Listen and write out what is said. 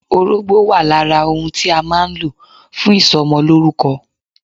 Orógbó wà lára ohun tí a má a nlò fún ìsomolórúko